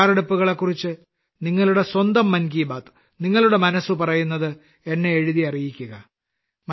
ഈ തയ്യാറെടുപ്പുകളെക്കുറിച്ച് സ്വന്തം മൻ കി ബാത്ത് നിങ്ങളുടെ മനസ്സ് പറയുന്നത് എന്നെ എഴുതി അറിയിക്കുക